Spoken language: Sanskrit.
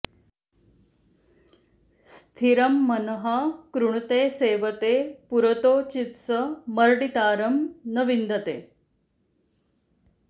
स्थि॒रं मनः॑ कृणु॒ते सेव॑ते पु॒रोतो चि॒त्स म॑र्डि॒तारं॒ न वि॑न्दते